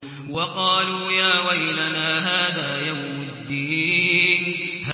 وَقَالُوا يَا وَيْلَنَا هَٰذَا يَوْمُ الدِّينِ